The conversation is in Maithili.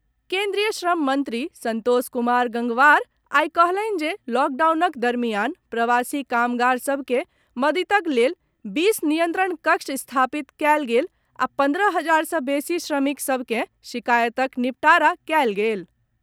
केन्द्रीय श्रम मंत्री संतोष कुमार गंगवार आइ कहलनि जे लॉकडाउनक दरमियान प्रवासी कामगार सभ के मददिक लेल बीस नियंत्रण कक्ष स्थापित कयल गेल आ पंद्रह हजार सॅ बेसी श्रमिक सभ के शिकायतक निबटारा कयल गेल।